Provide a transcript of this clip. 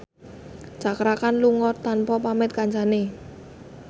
Cakra Khan lunga tanpa pamit kancane